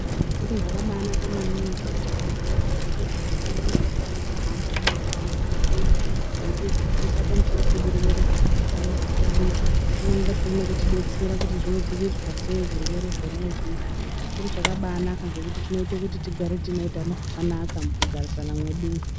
Zviro zvakabanaka maningi ngekuti vantu vebazi rezveutano vanopota veimbo hamba mumantaraunda mwedumwo. Vechidzidzisa pamusoro pezvirwere zvakasiyana-siyana, pamweni pachona veitibetsera kuti zvinodzivirirwa sei zvirwere zvona izvizvi. Chiro chakabanaka ngekuti chinoita kuti tigare tine utano hwakanaka mukugarisana mwedumwo.